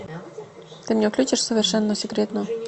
ты мне включишь совершенно секретно